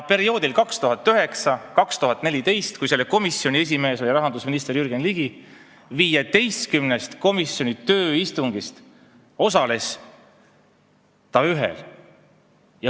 Perioodil 2009–2014, kui selle komisjoni esimees oli rahandusminister Jürgen Ligi, osales ta 15-st komisjoni tööistungist vaid ühel.